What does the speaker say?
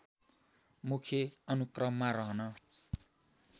मुख्य अनुक्रममा रहन